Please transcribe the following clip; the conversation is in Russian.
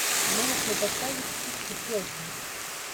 можешь мне поставить фиксипелки